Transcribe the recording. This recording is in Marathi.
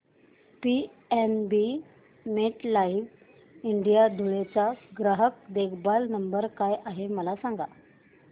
पीएनबी मेटलाइफ इंडिया धुळे चा ग्राहक देखभाल नंबर काय आहे मला सांगा